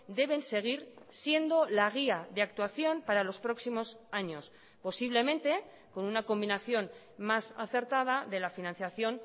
deben seguir siendo la guía de actuación para los próximos años posiblemente con una combinación más acertada de la financiación